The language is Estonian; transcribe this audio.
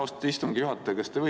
Austatud istungi juhataja!